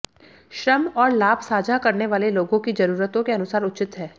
श्रम और लाभ साझा करने वाले लोगों की जरूरतों के अनुसार उचित है